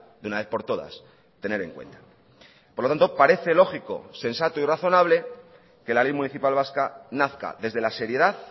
de una vez por todas tener en cuenta por lo tanto parece lógico sensato y razonable que la ley municipal vasca nazca desde la seriedad